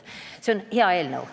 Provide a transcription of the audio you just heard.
See on hea eelnõu.